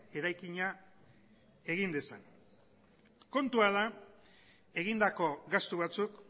eraikina egin dezan kontua da egindako gastu batzuk